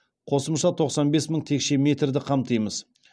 қосымша тоқсан бес мың текше метрді қамтимыз